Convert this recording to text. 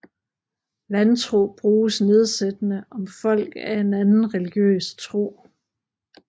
Vantro bruges nedsættende om folk af en anden religiøs tro